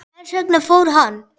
Hvers vegna fór hann?